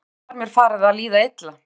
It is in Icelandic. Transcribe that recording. Stóragerði var mér farið að líða illa.